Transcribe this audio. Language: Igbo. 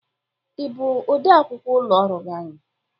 Ị bụ ọde akwụkwọ ụlọ ọrụ anyị?